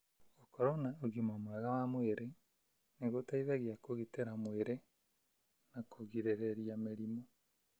Gũkorũo na ũgima mwega wa mwĩrĩ nĩ gũteithagia kũgitĩra mwĩrĩ na kũgirĩrĩria mĩrimũ.